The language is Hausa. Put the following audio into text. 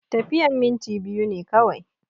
Tafiyan minti biyu ne kawai